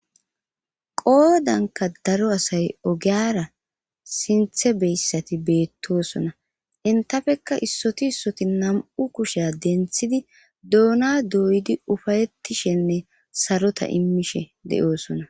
qoodanka daro asay ogeyara sinthe beyssati beettoosona intafekka issoti issoti nam7u kushea denthidi doona doydi ufayettishenne sarota immishe de7oosona